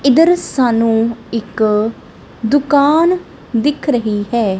ਇੱਧਰ ਸਾਨੂੰ ਇੱਕ ਦੁਕਾਨ ਦਿਖ ਰਹੀ ਹੈ।